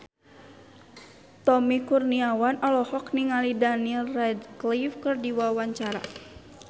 Tommy Kurniawan olohok ningali Daniel Radcliffe keur diwawancara